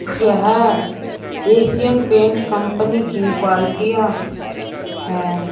यह Asian paint company की बाल्टियां हैं।